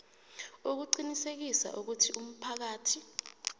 ukuqinisekisa ukuthi umphakathi